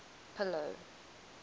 pillow